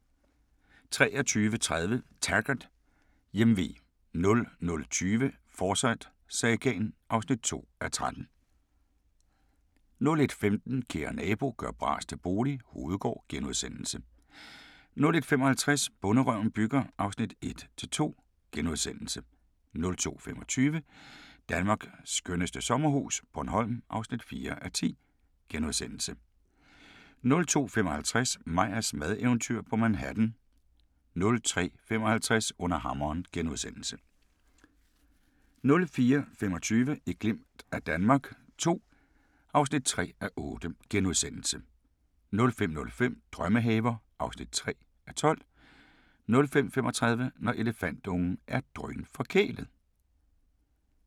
23:30: Taggart: Hjemve 00:20: Forsyte-sagaen (2:13) 01:15: Kære nabo – gør bras til bolig – Hovedgård * 01:55: Bonderøven bygger (1:2)* 02:25: Danmarks skønneste sommerhus - Bornholm (4:10)* 02:55: Meyers madeventyr på Manhattan 03:55: Under hammeren * 04:25: Et glimt af Danmark II (3:8)* 05:05: Drømmehaver (3:12) 05:35: Når elefantungen er drønforkælet